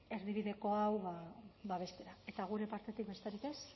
erdibideko hau babestea eta gure partetik besterik ez